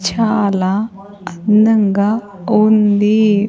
చాలా అందంగా ఉంది.